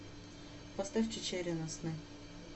поставь чичерина сны